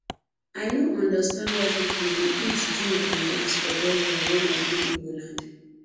i no understand why people dey eatdrink and dance for burial wen i go igbo land